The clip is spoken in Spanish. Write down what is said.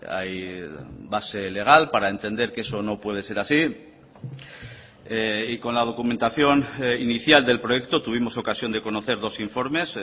hay base legal para entender que eso no puede ser así y con la documentación inicial del proyecto tuvimos ocasión de conocer dos informes